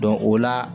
o la